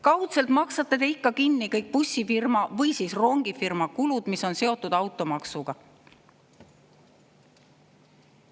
Kaudselt maksate te ikka kinni kõik bussifirma või siis rongifirma kulud, mis on seotud automaksuga.